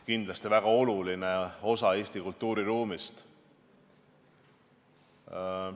Kindlasti on seegi väga oluline osa Eesti kultuuriruumist.